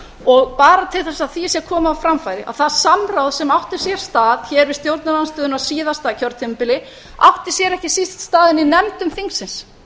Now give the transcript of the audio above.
og bara til þess að því sé komið á framfæri að það samráð sem átti sér stað hér við stjórnarandstöðuna á síðasta kjörtímabili átti sér ekki síst stað inni í nefndum þingsins